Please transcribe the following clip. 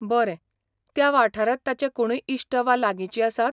बरें, त्या वाठारांत ताचे कोणूय इश्ट वा लागिचीं आसात?